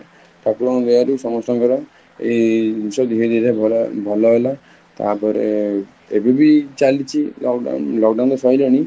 ଠାକୁରଙ୍କ ଦୟାରୁ ସମସ୍ତଙ୍କର ଏଇ ଜିନିଷ ଧୀରେ ଧୀରେ ଭଲ ହେଲା ତା ପରେ ଏବେବି ଚାଲିଛି, lockdown ତ ସାରିଲାଣି